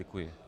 Děkuji.